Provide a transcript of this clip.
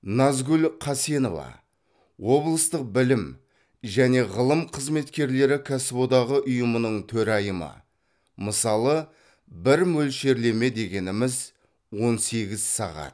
назгүл қасенова облыстық білім және ғылым қызметкерлері кәсіподағы ұйымының төрайымы мысалы бір мөлшерлеме дегеніміз он сегіз сағат